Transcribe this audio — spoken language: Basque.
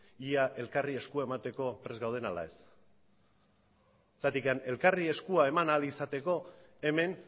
ea elkarri eskua emateko prest gauden ala ez zergatik elkarri eskua eman ahal izateko hemen